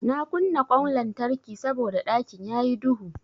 Na kunna ƙwan lantarki saboda ɗakin yayi duhu.